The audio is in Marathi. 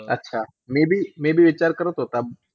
अच्छा! मी बी मी बी विचार करत होता.